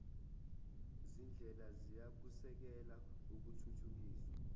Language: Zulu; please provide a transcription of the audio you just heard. zindlela ziyakusekela ukuthuthukiswa